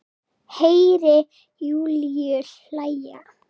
Heyri Júlíu hlæja.